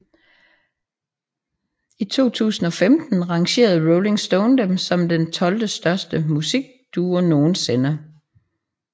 I 2015 rangerede Rolling Stone dem som den tolvte største musikduo nogensinde